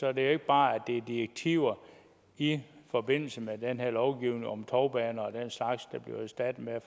er det ikke bare direktiver i forbindelse med den her lovgivning om tovbaner og den slags der bliver erstattet med